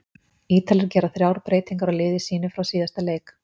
Ítalir gera þrjár breytingar á liði sínu frá síðasta leik.